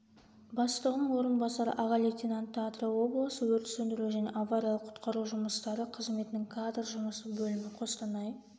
бастығының орынбасары аға лейтенанты атырау облысы өрт сөндіру және авариялық-құтқару жұмыстары қызметінің кадр жұмысы бөлімі қостанай